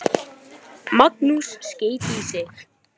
Magnús Hlynur: Og kýrnar eru þarna í beinni útsendingu?